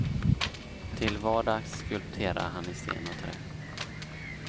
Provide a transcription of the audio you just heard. Till vardags skulpterar han i sten och trä.